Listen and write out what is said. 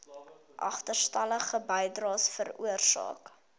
agterstallige bydraes veroorsaak